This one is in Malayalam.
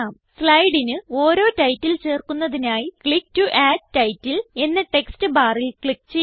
സ്ലൈഡിന് ഓരോ ടൈറ്റിൽ ചേർക്കുന്നതിനായി ക്ലിക്ക് ടോ അഡ് ടൈറ്റിൽ എന്ന ടെക്സ്റ്റ് ബാറിൽ ക്ലിക്ക് ചെയ്യുക